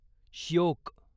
Shyok